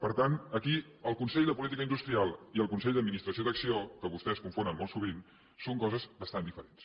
per tant aquí el consell de política industrial i el consell d’administració d’acc1ó que vostès confonen molt sovint són coses bastant diferents